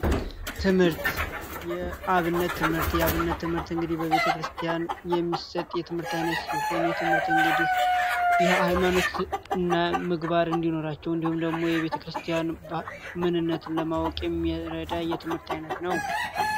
ትምህርት የአብነት ትምህርት የአብነት ትምህርት እንግዲህ በቤተክርስቲያን የሚሰጥ የትምህርት ዓይነት ሲሆን የትምህርት እንግዲህ የሃይማኖት እና ምግባር እንዲኖራቸው እንዲሁም ደግሞ የቤተ ክርስቲያን ምንነትን ለማወቂ የሚረዳ የትምህርት ዓይነት ነው።